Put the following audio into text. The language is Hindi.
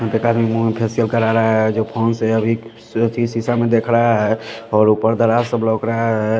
एं तो खाली मुह फैशियल कला ला ह जो फोन से अवी जो चीज शीशा म देख रहा ह और ऊपर दरार सब लॉक ल्हा है।